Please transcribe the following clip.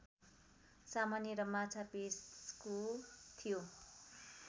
सामान्य र माछा पेशको थियो